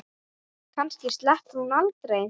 Kannski sleppur hún aldrei.